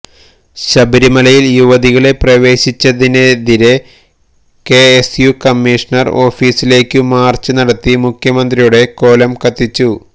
ശബരിമലയില് യുവതികളെ പ്രവേശിപ്പിച്ചതിനെതിരെ കെ എസ് യു കമ്മീഷ്ണര് ഓഫീസിലേക്ക് മാര്ച്ച് നടത്തി മുഖമന്ത്രിയുടെ കോലം കത്തിച്ചു